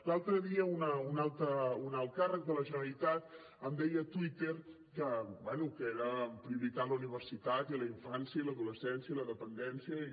l’altre dia un alt càrrec de la generalitat em deia a twitter bé que era prioritat la universitat i la infància i l’adolescència i la dependència i